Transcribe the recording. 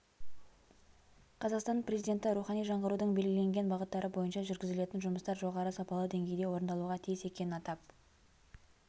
қазақстан президенті рухани жаңғырудың белгіленген бағыттары бойынша жүргізілетін жұмыстар жоғары сапалы деңгейде орындалуға тиіс екенін атап